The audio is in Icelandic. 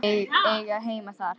Eiga heima þar.